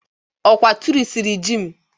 Ọkwa tụrịsịrị ji m.